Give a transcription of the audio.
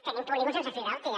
tenim polígons sense fibra òptica